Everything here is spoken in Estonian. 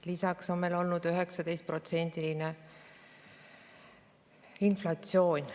Lisaks on meil 19%-line inflatsioon.